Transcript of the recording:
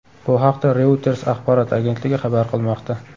Bu haqda Reuters axborot agentligi xabar qilmoqda .